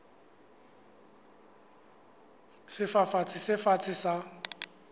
ya sefafatsi se fatshe sa